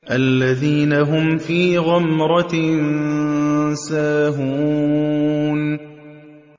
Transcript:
الَّذِينَ هُمْ فِي غَمْرَةٍ سَاهُونَ